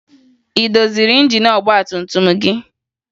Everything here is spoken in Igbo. Ị doziri injin ọgbatumtum gị?